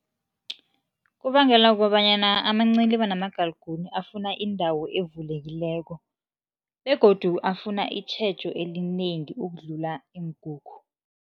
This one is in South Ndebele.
Kubangelwa kobanyana amanciliba namagalagune afuna indawo evulekileko begodu afuna itjhejo elinengi ukudlula iinkukhu.